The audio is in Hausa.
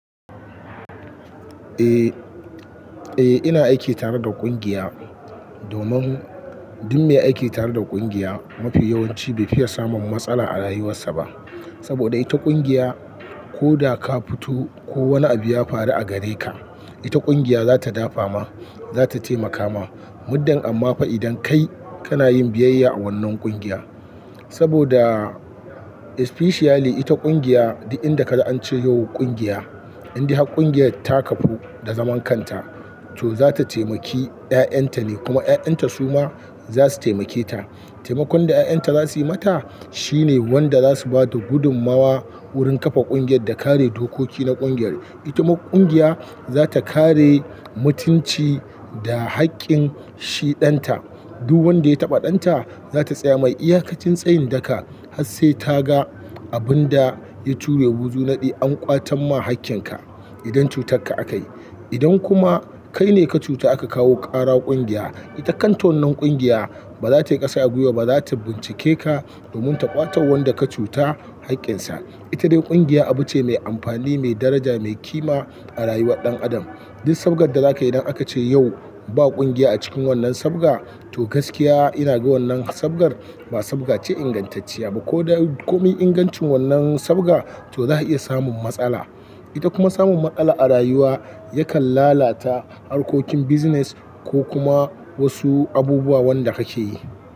Eh, eh ina aiki tare da ƙungiya. Domin dun me aiki tare da ƙungiya mafi yawanci bai fiya samun matsala a rayuwarsa ba. Saboda ita ƙungiya ko da ka fito ko wani abu ya faru a gare ka, ita ƙungiya za ta dafa ma, za ta taimaka ma. Muddin amma fa idan kai kana yin biyayya a wannan ƙungiya. Saboda especially ita ƙungiya duk inda ka ga an ce yau ƙungiya, in dai har ƙungiyar ta kafu da zaman kanta to za ta taimaki ƴaƴanta ne kuma ƴaƴanta su ma za su taimake ta. Taimakon da ƴaƴanta za su yi mata shine wanda za su bada gudummawa wurin kafa ƙungiyar da kare dokoki na ƙungiyar. Ita kuma ƙungiya za ta kare mutunci da haƙƙin shiɗanta. Duk wanda ya taɓa ɗanta za ta tsaya mai. Iyakacin tsayin daka har sai ta ga abun da ya tura wuzu naɗi an ƙwatan ma haƙƙinka idan cutarka akayi. Idan kuma kai ne ka cuta aka kawo ƙara ƙungiya, ita kanta wannnan ƙungiya baza tayi ƙasa a gwiwa ba, za ta bincike ka domin ta ƙwato wa wanda ka cuta haƙƙinsa. Ita dai ƙungiya abu ce mai amfani, mai daraja, mai kima a rayuwar ɗan adam. Duk sabgar da zaka yi idan aka ce yau ba ƙungiya a cikin wannan sabga to gaskiya ina ga wannan sabgar ba sabga ce ingantacciya ba. Ko da komai ingancin wannan sabga to za a iya samun matsala. Ita kuma samun matsala a rayuwa yakan lalata harkokin business ko kuma wasu abubuwa wanda kake yi.